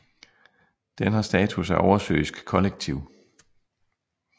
Den har status af oversøisk kollektiv